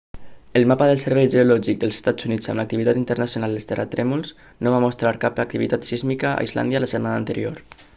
el mapa del servei geològic dels estats units amb l'activitat internacional de terratrèmols no va mostrar cap activitat sísmica a islàndia la setmana anterior